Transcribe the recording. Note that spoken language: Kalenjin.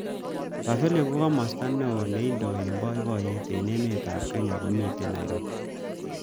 Pavillion ko kimosta neo neindoi eng boiboyet eng emet ab kenya komitei Nairobi.